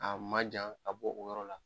A man jan ka bɔ o yɔrɔ la.